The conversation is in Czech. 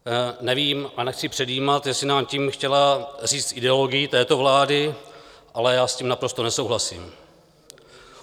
Nevím a nechci předjímat, jestli nám tím chtěla říct ideologii této vlády, ale já s tím naprosto nesouhlasím.